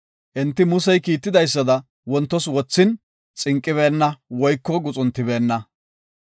Enti Musey kiitidaysada wontos wothin, xinqibeenna woyko guxuntibeenna.